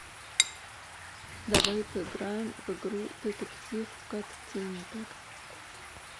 давай поиграем в игру детектив каттиндер